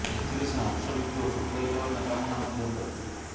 ସେଥିରେ ସେ ଅଂଶବିକ୍ରି ଓ ସୁପରିଚାଳନା କାମନା ମଧ୍ୟ କରିଥିଲେ